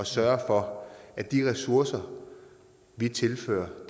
sørge for at de ressourcer vi tilfører